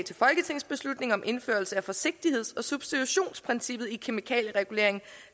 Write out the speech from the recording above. til folketingsbeslutning om indførelse af forsigtigheds og substitutionsprincippet i kemikalieregulering